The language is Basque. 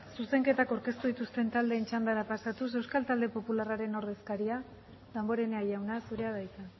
zuzenketak aurkeztu dituzten taldeen txandara pasatuz euskal talde popularraren ordezkaria damborenea jauna zurea da hitza